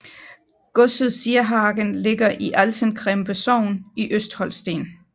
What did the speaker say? Godset Sierhagen ligger i Altenkrempe sogn i Østholsten